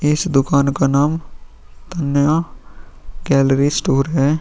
इस दुकान का नाम तनिया कैलरी स्टोर है।